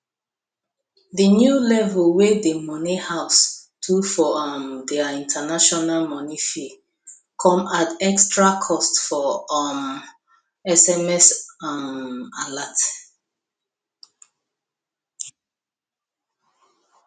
the new level wey the money house do for um their international money fee come add extra cost for um sms um alert